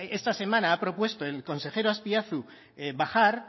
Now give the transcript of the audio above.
esta semana ha propuesta el consejero azpiazu bajar